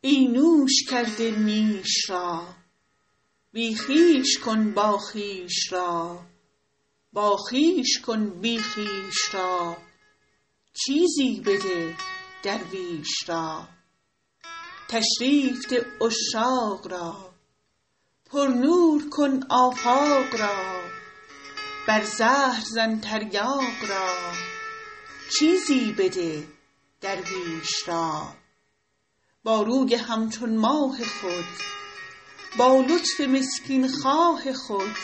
ای نوش کرده نیش را بی خویش کن باخویش را باخویش کن بی خویش را چیزی بده درویش را تشریف ده عشاق را پرنور کن آفاق را بر زهر زن تریاق را چیزی بده درویش را با روی همچون ماه خود با لطف مسکین خواه خود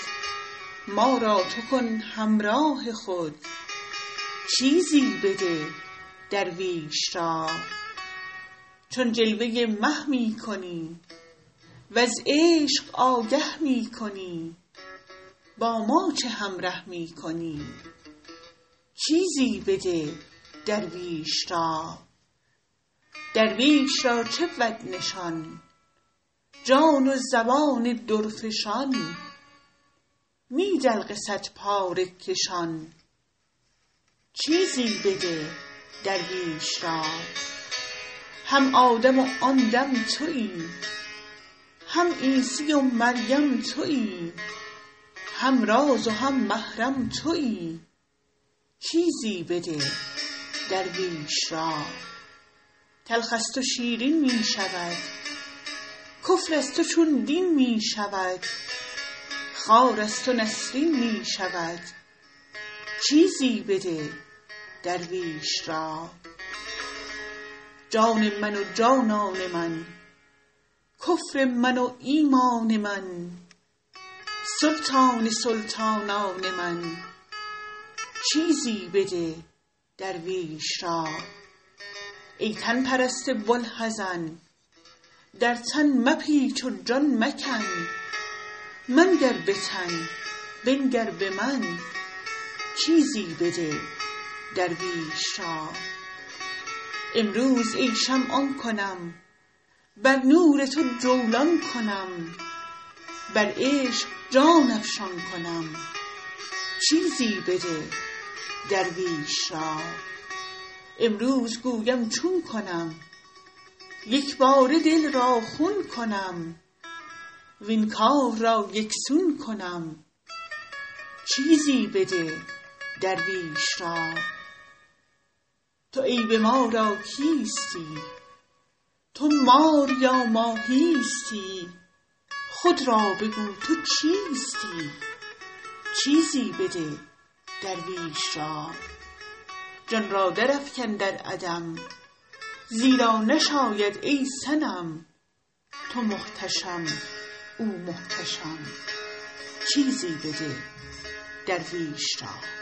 ما را تو کن همراه خود چیزی بده درویش را چون جلوه مه می کنی وز عشق آگه می کنی با ما چه همره می کنی چیزی بده درویش را درویش را چه بود نشان جان و زبان درفشان نی دلق صدپاره کشان چیزی بده درویش را هم آدم و آن دم توی هم عیسی و مریم توی هم راز و هم محرم توی چیزی بده درویش را تلخ از تو شیرین می شود کفر از تو چون دین می شود خار از تو نسرین می شود چیزی بده درویش را جان من و جانان من کفر من و ایمان من سلطان سلطانان من چیزی بده درویش را ای تن پرست بوالحزن در تن مپیچ و جان مکن منگر به تن بنگر به من چیزی بده درویش را امروز ای شمع آن کنم بر نور تو جولان کنم بر عشق جان افشان کنم چیزی بده درویش را امروز گویم چون کنم یک باره دل را خون کنم وین کار را یک سون کنم چیزی بده درویش را تو عیب ما را کیستی تو مار یا ماهیستی خود را بگو تو چیستی چیزی بده درویش را جان را درافکن در عدم زیرا نشاید ای صنم تو محتشم او محتشم چیزی بده درویش را